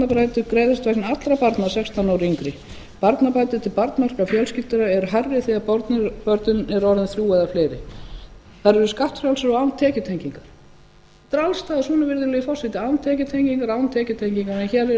allra barna sextán ára og yngri barnabætur til barnmargra fjölskyldna er hærri þegar börnin eru orðin þrjú eða fleiri þær eru skattfrjálsar og án tekjutengingar þetta er alls staðar svona virðulegi forseti án tekjutengingar en hér